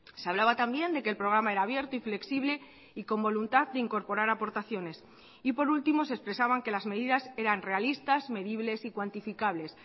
se hablaba también de que el programa era abierto y flexible y con voluntad de incorporar aportaciones y por último se expresaban que las medidas eran realistas medibles y cuantificables